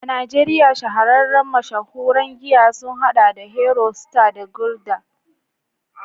A Najeriya, shahararren mashahuran giya sun hada da Hero, Star, da Gulder.